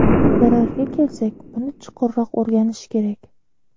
Zararga kelsak, buni chuqurroq o‘rganish kerak.